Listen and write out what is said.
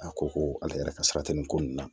A ko ko ale yɛrɛ ka sara tɛ nin ko ninnu na